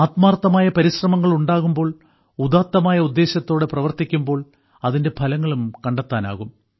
ആത്മാർത്ഥമായ പരിശ്രമങ്ങൾ ഉണ്ടാകുമ്പോൾ ഉദാത്തമായ ഉദ്ദേശത്തോടെ പ്രവർത്തിക്കുമ്പോൾ അതിന്റെ ഫലങ്ങളും കണ്ടെത്താനാകും